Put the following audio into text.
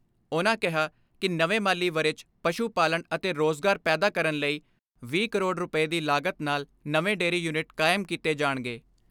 ਉਨ੍ਹਾਂ ਕਿਹਾ ਕਿ ਨਵੇਂ ਮਾਲੀ ਵਰ੍ਹੇ 'ਚ ਪਸ਼ੂ ਪਾਲਣ ਅਤੇ ਰੋਜ਼ਗਾਰ ਪੈਦਾ ਕਰਨ ਲਈ ਵੀਹ ਕਰੋੜ ਰੁਪਏ ਦੀ ਲਾਗਤ ਨਾਲ ਨਵੇਂ ਡੇਅਰੀ ਯੂਨਿਟ ਕਾਇਮ ਕੀਤੇ ਜਾਣਗੇ।